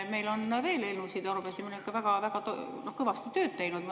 Meil on veel eelnõusid ja arupärimisi – väga-väga kõvasti oleme tööd teinud.